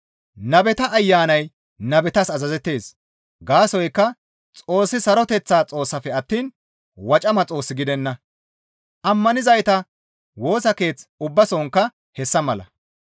Nabeta ayanay nabetas azazettees; gaasoykka Xoossi saroteththa Xoossafe attiin wocama Xoos gidenna; ammanizayta Woosa Keeth ubbasonkka hessa mala.